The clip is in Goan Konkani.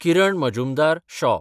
किरण मजुमदार-शॉ